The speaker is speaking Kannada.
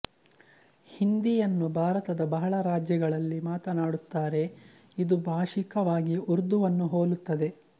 ಹಿಂದಿಯನ್ನು ಭಾರತದ ಬಹಳ ರಾಜ್ಯಗಳಲ್ಲಿ ಮಾತಾನಾಡುತ್ತಾರೆ ಇದು ಭಾಷಿಕವಾಗಿ ಉರ್ದುವನ್ನು ಹೋಲುತ್ತದೆ